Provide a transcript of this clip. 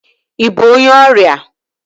Ị bụ onye ọrịa?